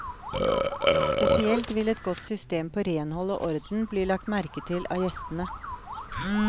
Spesielt vil et godt system på renhold og orden bli lagt merke til av gjestene.